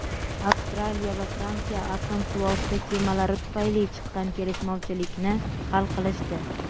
Avstraliya va Fransiya atom suvosti kemalari tufayli chiqqan kelishmovchilikni hal qilishdi.